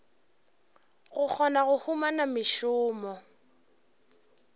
go kgona go humana mešomo